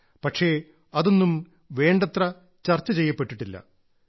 പക്ഷേ അതൊന്നും വേണ്ടത്ര ചർച്ച ചെയ്യപ്പെട്ടിട്ടില്ല